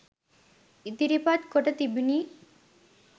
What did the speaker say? ඉදිරිපත් කොට තිබුණි